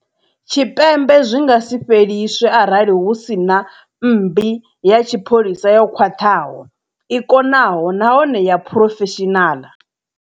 Tshipembe zwi nga si fheliswe arali hu si na mmbi ya tshipholisa yo khwaṱhaho, i konaho nahone ya phurofeshinala.